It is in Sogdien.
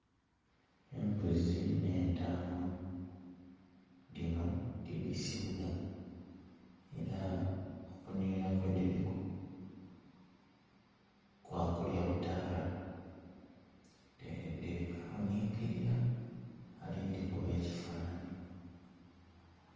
Embuzi ne ntaama dhino tidhisibwa era okunhilira kwe dhiriku kwa kulya butaala, dhiri kweghuninkilira ali dhi kuba ebifananhi.